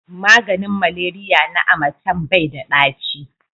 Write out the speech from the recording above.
maganin maleriya na amatem bai da ɗaci